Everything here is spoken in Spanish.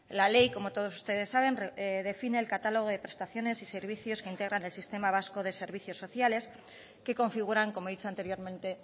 la ley como todos ustedes saben define el catálogo de prestaciones y servicios que integran el sistema vasco de servicios sociales que configuran como he dicho anteriormente